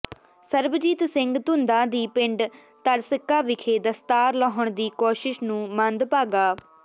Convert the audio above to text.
ਸਰਬਜੀਤ ਸਿੰਘ ਧੁੰਦਾ ਦੀ ਪਿੰਡ ਤਰਸਿੱਕਾ ਵਿਖੇ ਦਸਤਾਰ ਲਾਹੁਣ ਦੀ ਕੋਸ਼ਿਸ਼ ਨੂੰ ਮੰਦਭਾਗਾ